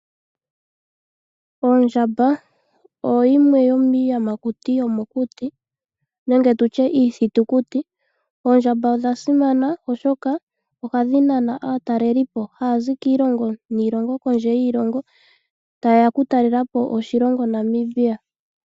Oondjamba odho dhimwe dhomiiyamakuti nenge tutye iithitukuti. Oondjamba odha simana oshoka ohadhi nana aataalelipo haya zi kiilongo niilongo kodje yiilongo taye ya okutalela po oshilongo Namibia.